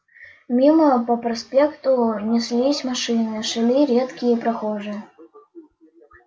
мимо по проспекту неслись машины шли редкие прохожие